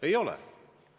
Ei ole!